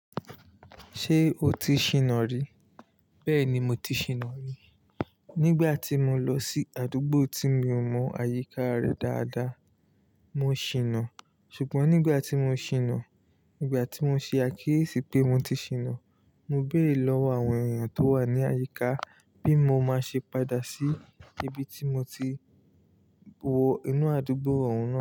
Ṣé o ti ṣìnà rí? Bẹ́ẹ̀ni mo ti ṣìnà rí. Nígbà tí mo lọ sí àdúgbò tí mi ò mọ̀ àyíká rẹ̀ dáadáa, mo ṣìnà. Ṣùgbọ́n nígbà tí mo ṣìnà, nígbà tí mo ṣe àkíyèsí pé mo ti ṣìnà, mo béèrè lọ́wọ́ àwọn èyàn tó wà ní àyíká bí mo máa ṣe padà sí ibi tí mo ti wọ inú àdúgbò oun náà.